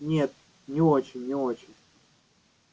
нет не очень не очень